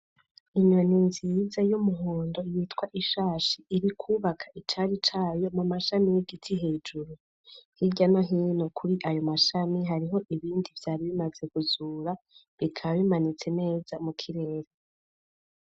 Inyoni nziiza y’umuhondo yitwa ishashi iri kwubaka icari cayo mu mashami y'igiti hejuru hirya no hino kuri ayo mashami hariho ibindi vyari bimaze kuzura bikaba bimanitse neza mu kirere.